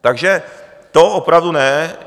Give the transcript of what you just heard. Takže to opravdu ne.